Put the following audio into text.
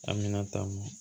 Aminata